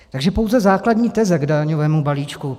Takže pouze základní teze k daňovému balíčku.